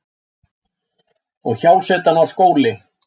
Og hjásetan var skóli.